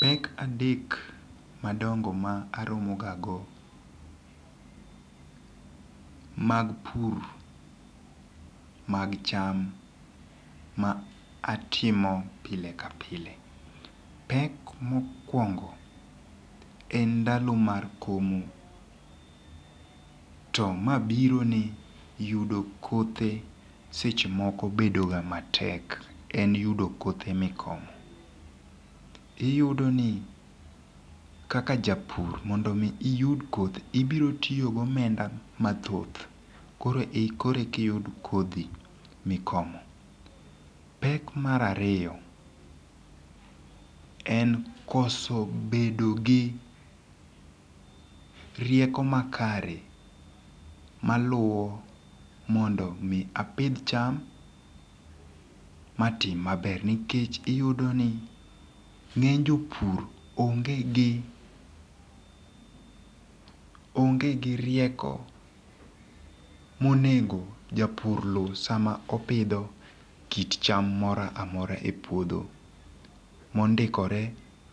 Pek adek madongo ma aromo ga go mag pur mag cham ma atimo pile ka pile. Pek mokwongo en ndalo mar komo to ma biro ni yudo kothe seche moko bedo ga matek en yudo kothe mikomo. Iyudo ni kaka japur mondo mi iyud kothe ibiro tiyo go omenda mathoth koro eka, koro kiyudo kodhi mikomo. Pek mar ariyo en koso bedo gi rieko makare maluwo mondo mi apidh cham matim maber nikech iyudo ni ng'eny jopur onge gi onge gi rieko monego japur lu sa ma opidho kit cham moro amora e puodho mondikore